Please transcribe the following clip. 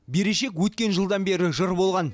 берешек өткен жылдан бері жыр болған